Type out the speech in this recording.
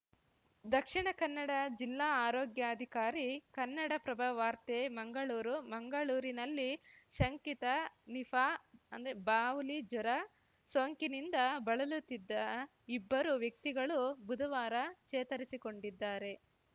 ದಕ್ಷಿಣಕನ್ನಡ ಜಿಲ್ಲಾ ಆರೋಗ್ಯಾಧಿಕಾರಿ ಕನ್ನಡಪ್ರಭ ವಾರ್ತೆ ಮಂಗಳೂರು ಮಂಗಳೂರಿನಲ್ಲಿ ಶಂಕಿತ ನಿಪಾಅಂದ್ರೆ ಬಾವಲಿ ಜ್ವರಸೋಂಕಿನಿಂದ ಬಳಲುತ್ತಿದ್ದ ಇಬ್ಬರು ವ್ಯಕ್ತಿಗಳು ಬುಧವಾರ ಚೇತರಿಸಿಕೊಂಡಿದ್ದಾರೆ